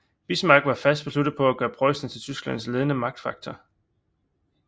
Bismarck var fast besluttet på at gøre Preussen til Tysklands ledende magtfaktor